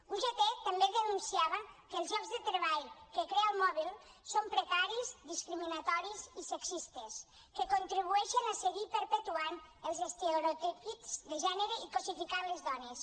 ugt també denunciava que els llocs de treball que crea el mobile són precaris discriminatoris i sexistes que contribueixen a seguir perpetuant els estereotips de gènere i cosificant les dones